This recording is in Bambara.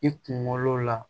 I kunkolo la